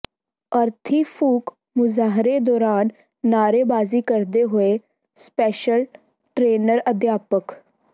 ਅਰਥੀ ਫੂਕ ਮੁਜ਼ਾਹਰੇ ਦੌਰਾਨ ਨਾਅਰੇਬਾਜ਼ੀ ਕਰਦੇ ਹੋਏ ਸਪੈਸ਼ਲ ਟਰੇਨਰ ਅਧਿਆਪਕ